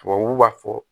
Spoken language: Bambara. Tubabuw b'a fɔ